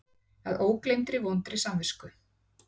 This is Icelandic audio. Að ógleymdri vondri samvisku.